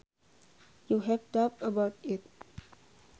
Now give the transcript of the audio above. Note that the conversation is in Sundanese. You have doubts about it